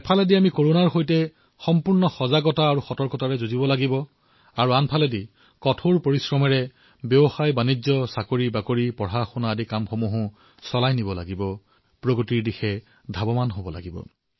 এফালে আমি কৰোনাৰ বিৰুদ্ধে সম্পূৰ্ণ সজাগত আৰু সতৰ্কতাৰ সৈতে যুদ্ধ কৰিছো আৰু আনফালে কঠোৰ পৰিশ্ৰমেৰে ব্যৱসায় চাকৰি অধ্যয়ন যিবোৰ কৰ্তব্য আমি পালন কৰো তাতো গতি প্ৰদান কৰিব লাগিব উচ্চতাৰ নতুন শিখৰলৈ লৈ যাব লাগিব